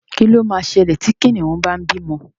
Kí ló ma ṣẹlẹ̀ tí Kìnìún bá ń bímọ?